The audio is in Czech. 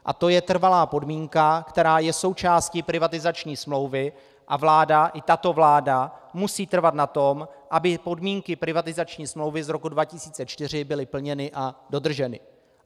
A to je trvalá podmínka, která je součástí privatizační smlouvy, a vláda, i tato vláda, musí trvat na tom, aby podmínky privatizační smlouvy z roku 2004 byly plněny a dodrženy.